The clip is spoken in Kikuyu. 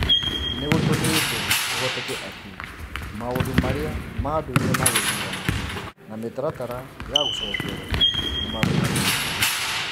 nĩ gũtũmĩte kũhoteke atĩ maũndũ marĩa ma ndũire ma gĩthurano na mĩtaratara ya gũcokerwo nĩ marũgamĩtio.